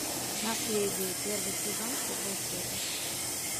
наследие первый сезон первая серия